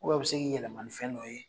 u bɛn a be se k'i yɛlɛma ni fɛn dɔ ye